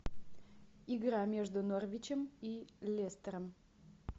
игра между норвичем и лестером